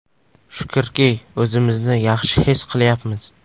Shukrki, o‘zimizni yaxshi his qilyapmiz.